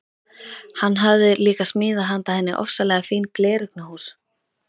Hann hafði líka smíðað handa henni ofsalega fín gleraugnahús.